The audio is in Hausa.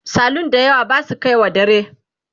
salun da yawa Basu kaiwa dare